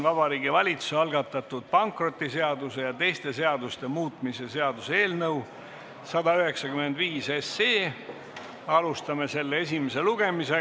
Vabariigi Valitsuse algatatud pankrotiseaduse ja teiste seaduste muutmise seaduse eelnõu 195, alustame selle esimest lugemist.